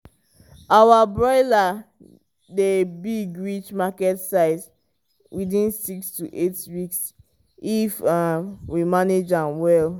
our broiler dey big reach market size within six to eight weeks if um we manage am well.